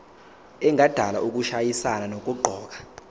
engadala ukushayisana nokuqokwa